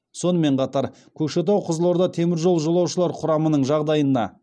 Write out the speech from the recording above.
сонымен қатар көкшетау қызылорда теміржол жолаушылар құрамының жағдайына